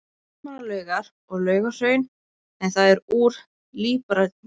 Landmannalaugar og Laugahraun, en það er úr líparíti.